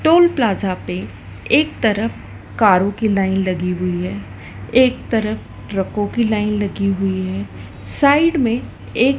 toll plaza पे एक तरफ कारों की लाइन लगी हुई है एक तरफ ट्रकों की लाइन लगी हुई है साइड में एक--